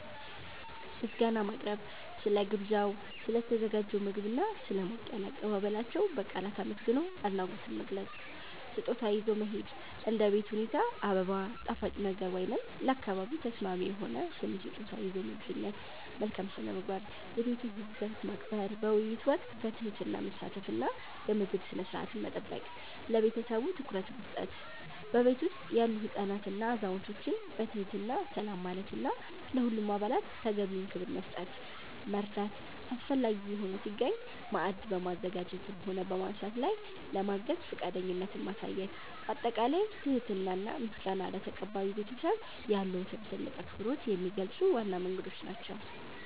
ምስጋና ማቅረብ፦ ስለ ግብዣው፣ ስለ ተዘጋጀው ምግብና ስለ ሞቅ ያለ አቀባበላቸው በቃላት አመስግኖ አድናቆትን መግለጽ። ስጦታ ይዞ መሄድ፦ እንደ ቤት ሁኔታ አበባ፣ ጣፋጭ ነገር ወይም ለአካባቢው ተስማሚ የሆነ ትንሽ ስጦታ ይዞ መገኘት። መልካም ስነ-ምግባር፦ የቤቱን ህግጋት ማክበር፣ በውይይት ወቅት በትህትና መሳተፍ እና የምግብ ስነ-ስርዓትን መጠበቅ። ለቤተሰቡ ትኩረት መስጠት፦ በቤቱ ውስጥ ያሉ ህፃናትንና አዛውንቶችን በትህትና ሰላም ማለትና ለሁሉም አባላት ተገቢውን ክብር መስጠት። መርዳት፦ አስፈላጊ ሆኖ ሲገኝ ማዕድ በማዘጋጀትም ሆነ በማንሳት ላይ ለማገዝ ፈቃደኝነትን ማሳየት። ባጠቃላይ ትህትና እና ምስጋና ለተቀባዩ ቤተሰብ ያለዎትን ትልቅ አክብሮት የሚገልጹ ዋና መንገዶች ናቸው።